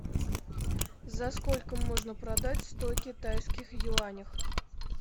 за сколько можно продать сто китайских юанях